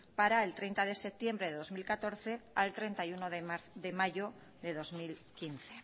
para el treinta de septiembre de dos mil catorce al treinta y uno de mayo de dos mil quince